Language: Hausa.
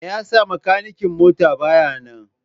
Me yasa makanikin mota baya nan?